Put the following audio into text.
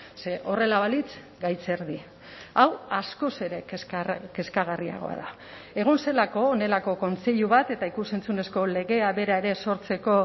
ze horrela balitz gaitzerdi hau askoz ere kezkagarriagoa da egon zelako honelako kontseilu bat eta ikus entzunezko legea bera ere sortzeko